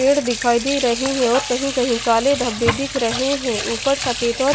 पेड़ दिखाई दे रहे हैं और कहीं-कहीं काले धब्बे दिख रहे हैं ऊपर सफेद और --